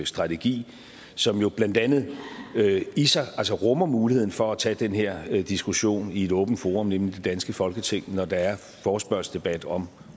strategi som jo blandt andet i sig rummer muligheden for at tage den her diskussion i et åbent forum nemlig det danske folketing når der er forespørgselsdebat om